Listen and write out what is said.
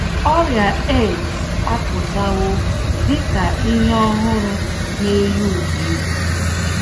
Ọrịa AIDS apụtawo dị ka ihe ọhụrụ na - eyi ụwa egwu.